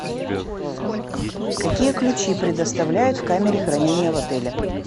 какие ключи предоставляют в камере хранения в отеле